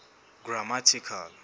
grammatical